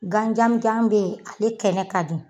Gan janmujan bɛ yen ale kɛnɛ ka di.